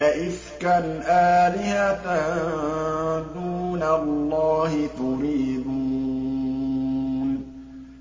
أَئِفْكًا آلِهَةً دُونَ اللَّهِ تُرِيدُونَ